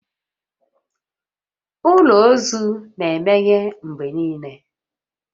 Ụlọ ozu na-emeghe mgbe niile